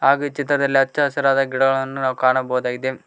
ಹಾಗು ಈ ಚಿತ್ರದಲ್ಲಿ ಹಚ್ಚ ಹಸಿರಾದ ಗಿಡಗಳನ್ನು ನಾವು ಕಾಣಬಹುದಾಗಿದೆ.